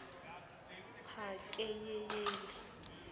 pakeyeyeli